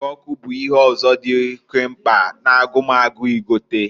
Ịgwe ọkụ bụ ihe ọzọ dị oke mkpa na-agụ m agụụ igota.